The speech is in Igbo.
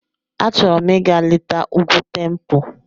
Achọrọ m ịga leta Ugwu Tempo.